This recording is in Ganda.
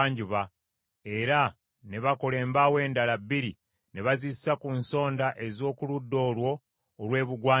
era ne bakola embaawo endala bbiri ne bazissa ku nsonda ez’oku ludda olwo olw’ebugwanjuba.